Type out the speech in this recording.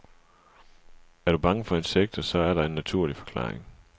Er du bange for insekter, så er der en naturlig forklaring.